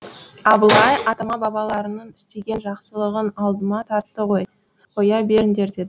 абылай атама бабаларының істеген жақсылығын алдыма тартты ғой қоя беріңдер деді